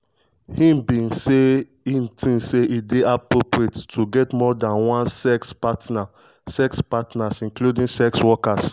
dem say im bin tink say e dey "appropriate" to get more dan one sex partners sex partners including sex workers.